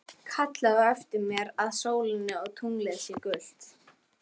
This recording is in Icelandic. Kallar á eftir mér að sólin og tunglið séu gull.